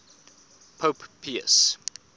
pope pius